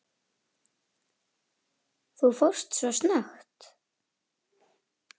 Þú fórst svo snöggt.